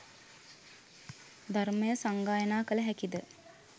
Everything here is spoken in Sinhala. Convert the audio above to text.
ධර්මය සංගායනා කළ හැකිද?